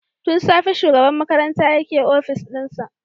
Tun safe shugaban makarantayake opis dinsa.